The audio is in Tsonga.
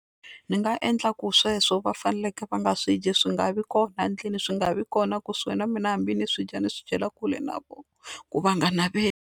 Ni nga endla ku sweswo va faneleke va nga swi dyi swi nga vi kona endlwini swi nga vi kona kusuhi na mina hambi ni swidya ni swi dyela kule na vona ku va nga naveli.